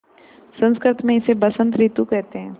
संस्कृत मे इसे बसंत रितु केहेते है